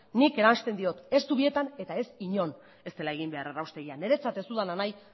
nik eransten diot ez zubietan eta ez inon ez dela egin behar erraustegia niretzat ez dudana nahi